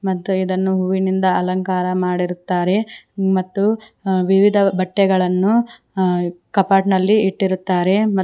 ಮತ್ತು ಇದನ್ನು ಹೂವಿನಿಂದ ಅಲಂಕಾರ ಮಾಡಿರುತ್ತಾರೆ ಮತ್ತು ಅ ವಿವಿಧ ಬಟ್ಟೆಗಳನ್ನು ಅ ಕಾಪಾಟ್ನಲ್ಲಿ ಇಟ್ಟಿರುತ್ತಾರೆ.